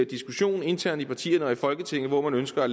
diskussion internt i partierne og i folketinget hvor man ønsker at